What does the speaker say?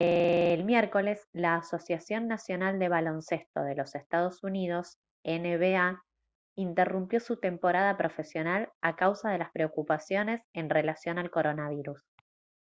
el miércoles la asociación nacional de baloncesto de los ee. uu. nba interrumpió su temporada profesional a causa de las preocupaciones en relación al coronavirus